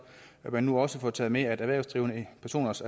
at man nu også får taget med at erhvervsdrivende personer også